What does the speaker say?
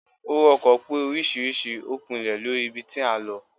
owo ọkọ pe oriṣiriṣi o pinle Lori ibí tí a n ló